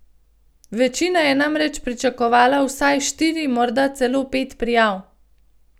Večina je namreč pričakovala vsaj štiri, morda celo pet prijav.